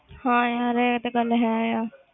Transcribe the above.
ਹਾਂ ਯਾਰ ਇਹ ਗੱਲ ਹੈ ਆ।